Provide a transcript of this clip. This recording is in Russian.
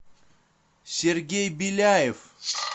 сергей беляев